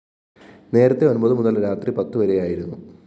നേരത്തേ ഒന്‍പതു മുതല്‍ രാത്രി പത്തുവരെയായിരുന്നു